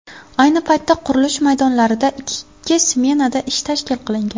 Ayni paytda qurilish maydonlarida ikki smenada ish tashkil qilingan.